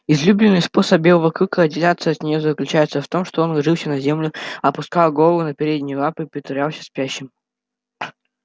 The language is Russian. излюбленный способ белого клыка отделаться от неё заключался в том что он ложился на землю опускал голову на передние лапы и притворялся спящим